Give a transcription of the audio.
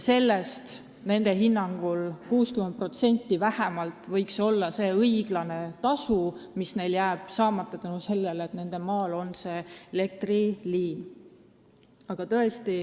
Sellest vähemalt 60% võiks olla see õiglane tasu, mis neil jääb saamata seetõttu, et nende maa peal on elektriliin.